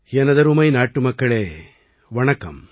எனதருமை நாட்டுமக்களே வணக்கம்